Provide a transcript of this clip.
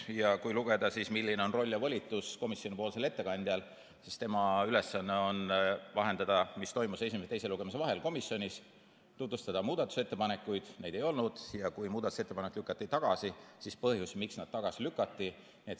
Ja kui lugeda, milline roll ja volitus on komisjoni ettekandjal, siis tema ülesanne on vahendada, mis toimus esimese ja teise lugemise vahel komisjonis, tutvustada muudatusettepanekuid – neid ei olnud – ja kui muudatusettepanek lükati tagasi, siis põhjus, miks tagasi lükati.